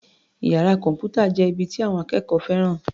Iyàrá kọ̀m̀pútà jẹ́ ibi tí àwọn akẹ́kọ̀ọ́ fẹ́ràn.